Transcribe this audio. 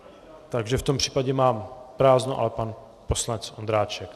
Takže v tom případě mám prázdno, ale pan poslanec Ondráček.